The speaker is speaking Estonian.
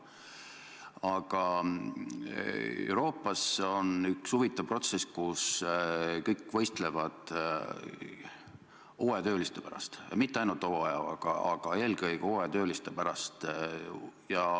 Aga Euroopas on käimas üks huvitav protsess: kõik võistlevad hooajatööliste pärast, ja mitte ainult hooaja-, vaid eelkõige hooajatööliste pärast.